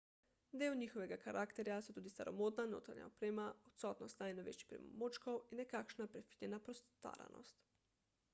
del njihovega karakterja so tudi staromodna notranja oprema odsotnost najnovejših pripomočkov in nekakšna prefinjena postaranost